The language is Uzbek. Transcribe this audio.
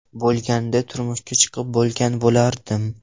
Bo‘lganida, turmushga chiqib bo‘lgan bo‘lardim.